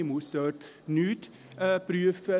Man muss dort nichts prüfen.